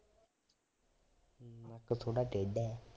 ਨੱਕ ਥੋਡਾ ਟੇਢਾ ਏ